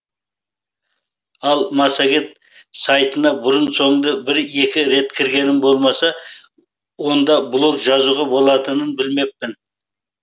ал массагет сайтына бұрын соңды бір екі рет кіргенім болмаса онда блог жазуға болатынын білмеппін